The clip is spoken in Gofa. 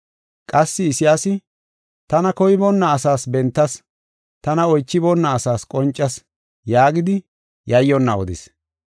Qassi Isayaasi, “Tana koyiboona asaas bentas; tana oychiboona asaas qoncas” yaagidi yayyonna odis.